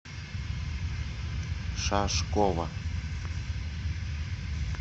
шашкова